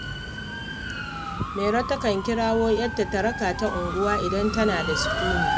Mairo takan kirawo ‘yarta ta raka ta unguwa idan tana da sukuni